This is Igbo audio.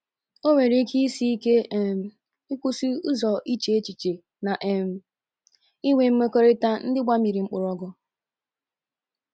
O nwere ike isi ike um ịkwụsị ụzọ iche echiche na um inwe mmekọrịta ndị gbamiri mkpọrọgwụ um.